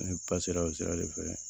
Ne pasera o sira de fɛ